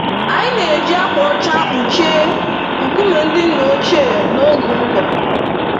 Anyị na-eji ákwà ọcha kpuchie nkume ndị nna ochie n'oge ụgụrụ.